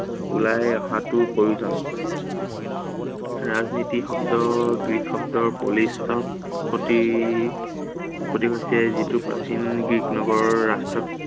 ওলাই অহাটো প্ৰয়োজন। ৰাজনীতি শব্দৰ গ্ৰীক শব্দ প্ৰতি, প্ৰতীক আছিলে। যিটো প্ৰাচীন গ্ৰীক নগৰৰ